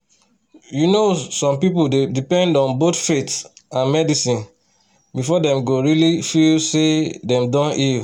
you know some people dey depend on both faith and medicine before dem go really feel say dem don heal.